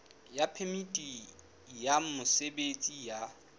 ya phemiti ya mosebetsi ya